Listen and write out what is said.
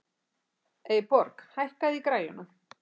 Eyborg, hækkaðu í græjunum.